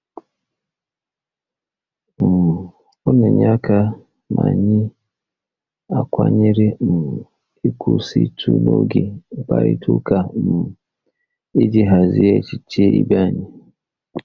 um Ọ na-enye aka ma anyị akwanyere um nkwụsịtụ n'oge mkparịta ụka um iji hazie echiche ibe anyị.